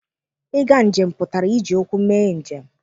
Ịga njem pụtara iji ụkwụ mee njem.